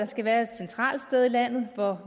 skal være et centralt sted i landet hvor